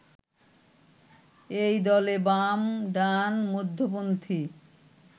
এই দলে বাম, ডান, মধ্যপন্থি